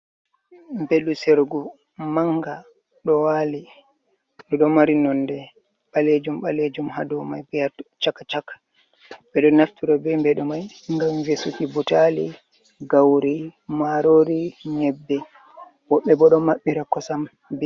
Mbeɗu seergu manga ɗo waali, ɗi ɗo mari nonde ɓaleejum ɓaleejum ha domai be ha chaka-chak. Ɓe ɗo naftira be mbeɗu mai ngam vesuuki buutali, gauri, marori, nƴebbe woɓɓe bo ɗo maɓɓiira koosam be mai.